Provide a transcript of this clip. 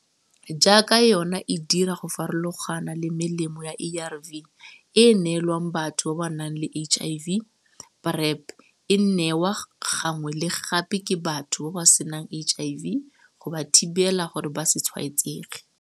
Jaaka yona e dira go farologana le melemo ya ARV e e neelwang batho ba ba nang le HIV, PrEP e nwewa gangwe le gape ke batho ba ba senang HIV go ba thibela gore ba se tshwaetsege.